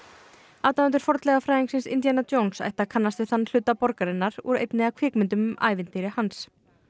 aðdáendur fornleifafræðingsins Indíana Jones ættu að kannast við þann hluta borgarinnar úr einni af kvikmyndunumm um ævintýri hans